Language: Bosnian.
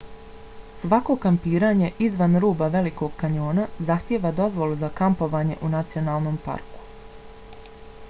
svako kampiranje izvan ruba velikog kanjona zahtijeva dozvolu za kampovanje u nacionalnom parku